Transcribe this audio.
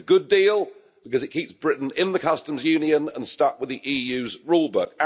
It's a good deal because it keeps Britain in the customs union and stuck with the EU's rulebook.